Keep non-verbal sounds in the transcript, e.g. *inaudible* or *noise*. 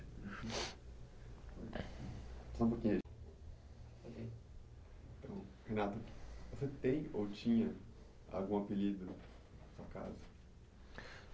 Só um pouquinho aí. *unintelligible* Você tem ou tinha algum apelido na sua casa?